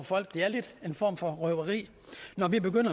folk det er lidt en form for røveri når vi